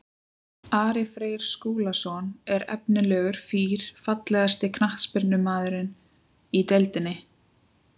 Ari Freyr Skúlason er efnilegur fýr Fallegasti knattspyrnumaðurinn í deildinni?